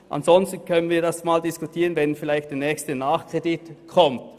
Ansonsten könnten wir das vielleicht diskutieren, wenn der nächste Nachkredit kommt.